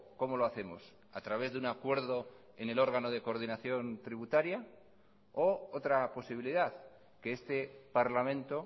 cómo lo hacemos a través de un acuerdo en el órgano de coordinación tributaria o otra posibilidad que este parlamento